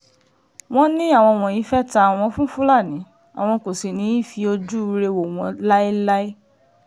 wọ́n ní àwọn wọ̀nyí fẹ́ẹ́ ta àwọn fún fúlàní àwọn kò sì ní í fi ojúure wò wọ́n láéláé